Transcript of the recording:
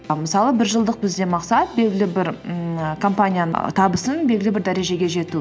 мысалы біржылдық бізде мақсат белгілі бір ммм компанияның табысын белгілі бір дәрежеге жету